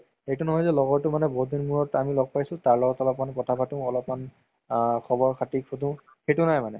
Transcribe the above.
এইটো নহয় যে লগৰতো মানে বহুত দিন মোৰত আমি ল'গ পাইছো তাৰ লগত অলপমান কথা পাতো অলপমান আ খবৰ খাতি শুধো সেইটো নাই মানে